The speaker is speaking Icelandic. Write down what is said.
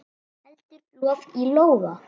Heldur lof í lófa.